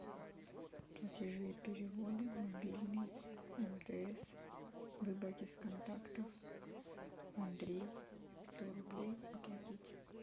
платежи и переводы мобильный мтс выбрать из контактов андрей сто рублей оплатить